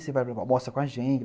Você vai almoçar com a gente.